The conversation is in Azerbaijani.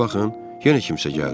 Bir baxın, yenə kimsə gəldi.